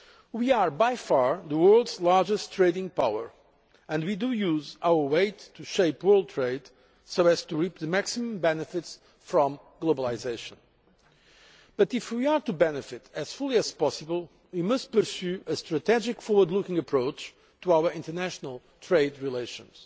We are by far the world's largest trading power and we use our weight to shape world trade so as to reap the maximum benefits from globalisation, but if we are to benefit as fully as possible we must pursue a strategic, forward looking approach to our international trade relations.